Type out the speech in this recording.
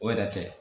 O yɛrɛ kɛ